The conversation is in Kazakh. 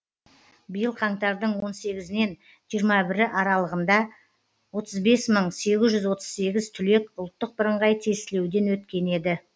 биыл қаңтардың он сегізінен жиырма бірі аралығында отыз бес мың сегіз жүз отыз сегіз түлек ұлттық бірыңғай тестілеуден өткен еді